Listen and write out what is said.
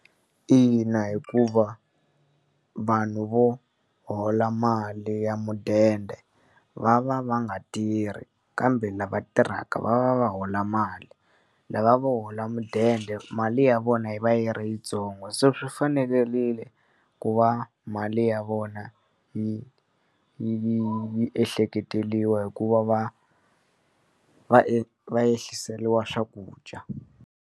Ina, hikuva vanhu vo hola mali ya mudende va va va nga tirhi kambe lava tirhaka va va va hola mali. Lava vo hola mudende mali ya ya vona yi va yi ri yintsongo, so swi fanerile ku va mali ya vona yi yi yi yi yi ehleketeleriwa hi ku va va va va ehliseriwa swakudya.